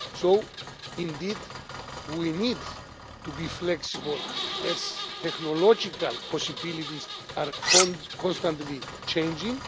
So, indeed, we need to be flexible as technological possibilities are constantly changing.